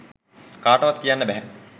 කාටවත් කියන්න බැහැ.